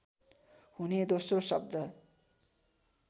हुने दोस्रो शब्द